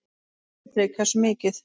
Sindri: Hversu mikið?